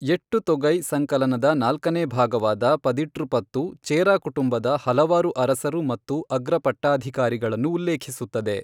ಎಟ್ಟುತೊಗೈ ಸಂಕಲನದ ನಾಲ್ಕನೇ ಭಾಗವಾದ ಪದಿಟ್ರುಪತ್ತು, ಚೇರಾ ಕುಟುಂಬದ ಹಲವಾರು ಅರಸರು ಮತ್ತು ಅಗ್ರಪಟ್ಟಾಧಿಕಾರಿಗಳನ್ನು ಉಲ್ಲೇಖಿಸುತ್ತದೆ.